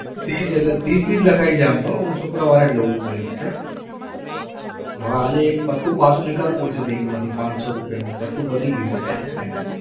ત્રીસ એટલે ત્રીસની જ લખાઈ છે આમ તો હું શુક્રવાર એ જ લઉં છું ગઈ વખતે હવે આજે એક પત્તું પાછુ પડશે bank માંથી પાંચસો રૂપિયાનું પત્તું પતી ગયું છે.